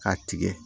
K'a tigɛ